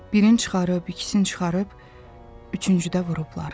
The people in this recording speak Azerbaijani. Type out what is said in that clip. Birin çıxarıb, ikisin çıxarıb, üçüncü də vurublar.